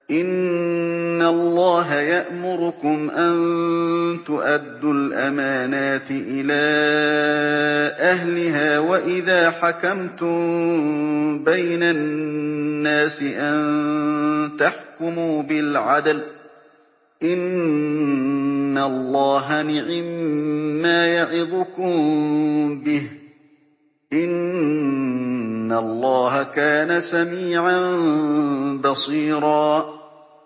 ۞ إِنَّ اللَّهَ يَأْمُرُكُمْ أَن تُؤَدُّوا الْأَمَانَاتِ إِلَىٰ أَهْلِهَا وَإِذَا حَكَمْتُم بَيْنَ النَّاسِ أَن تَحْكُمُوا بِالْعَدْلِ ۚ إِنَّ اللَّهَ نِعِمَّا يَعِظُكُم بِهِ ۗ إِنَّ اللَّهَ كَانَ سَمِيعًا بَصِيرًا